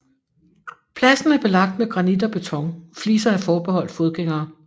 Pladsen er belagt med granit og beton fliser og er forbeholdt fodgængere